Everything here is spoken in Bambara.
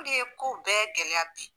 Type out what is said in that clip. O de ye kow bɛɛ gɛlɛya bi